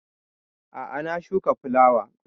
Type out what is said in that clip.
A'a na shuka fulawa